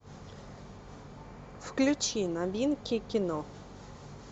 включи новинки кино